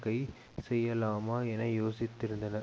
கை செய்யலாமா என யோசித்திருந்தனர்